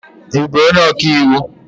Ị bụ onye ọka iwu?